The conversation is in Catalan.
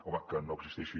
home que no existeixi